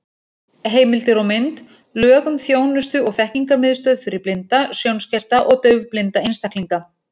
Heimildir og mynd: Lög um þjónustu- og þekkingarmiðstöð fyrir blinda, sjónskerta og daufblinda einstaklinga.